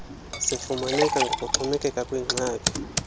zifumaneka ngokuxhomekeka kwingxaki